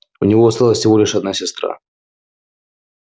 у него осталась всего лишь одна сестра